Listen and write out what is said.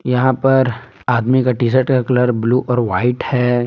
यहां पर आदमी का टी शर्ट का कलर ब्लू और व्हाइट है।